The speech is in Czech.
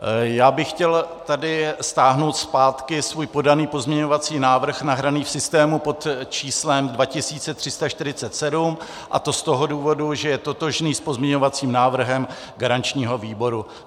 Já bych chtěl tady stáhnout zpátky svůj podaný pozměňovací návrh nahraný v systému pod číslem 2347, a to z toho důvodu, že je totožný s pozměňovacím návrhem garančního výboru.